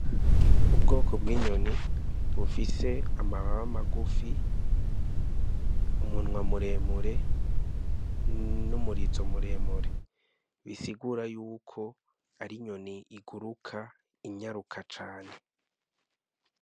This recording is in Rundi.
Ubwoko bw'inyoni bufise amababa magufi, umunwa muremure, n'umurizo muremure. Bisigura yuko ari inyoni iguruka inyaruka cane.